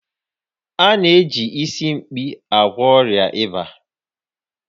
A na-eji Isimkpi agwọ ọrịa ịba